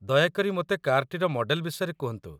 ଦୟାକରି ମୋତେ କାର୍‌ଟିର ମଡ଼େଲ୍‌ ବିଷୟରେ କୁହନ୍ତୁ।